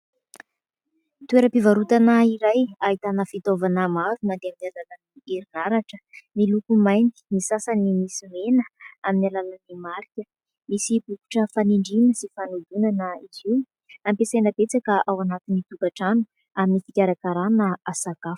Toera-pivarotana iray ahitana fitaovana maro ary mandeha amin'ny alalan'ny herinaratra miloko mainty ny sasany misy mena amin'ny alalan'ny marika, misy bokotra fanindrina sy fanodonana izy io ampiasaina betsaka ao anatin'ny tokatrano amin'ny fikarakarana sakafo.